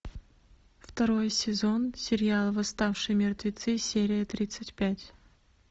второй сезон сериал восставшие мертвецы серия тридцать пять